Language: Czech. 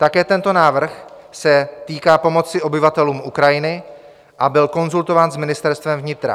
Také tento návrh se týká pomoci obyvatelům Ukrajiny a byl konzultován s Ministerstvem vnitra.